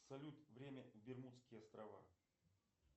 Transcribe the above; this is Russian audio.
салют время бермудские острова